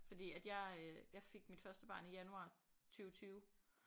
fordi at jeg øh jeg fik mit første barn i januar 20 20